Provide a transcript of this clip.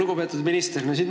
Lugupeetud minister!